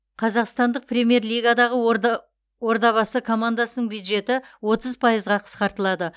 қазақстандық премьер лигадағы ордабасы командасының бюджеті отыз пайызға қысқартылады